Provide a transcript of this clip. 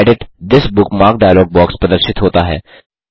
edit this bookmark dialog box प्रदर्शित होता है